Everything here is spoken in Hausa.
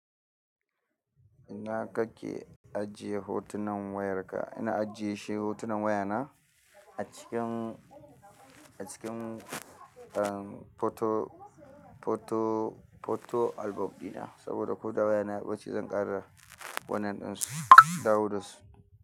Ina ka ke ajiye hotunan wayarka? Ina ajiyeshi hotunan wayana a cikin, a cikin photo, photo, photo album ɗina saboda ko da waya na bacce zan ƙara wanan ɗinsu dawo dasu.